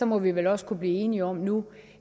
må vi vel også kunne blive enige om nu